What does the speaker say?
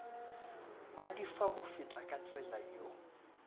ba di fa mofetakatsela yo